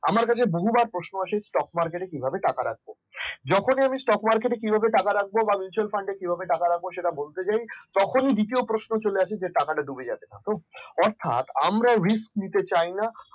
আমার কাছে আমার বহুবার প্রশ্ন আসে stok market কিভাবে টাকা রাখবো যখনই আমি stok market কিভাবে টাকা রাখবো বা mutual fund কিভাবে টাকা রাখবো বলতে চাই তখন দ্বিতীয় প্রশ্ন চলে আসে যে অর্থাৎ আমরা risk নিতে চাই না